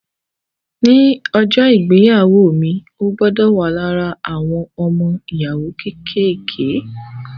Ní ọjọ́ ìgbéyàwó mi, o gbọdọ̀ wà lára àwọn ọmọ-ìyàwó kékèké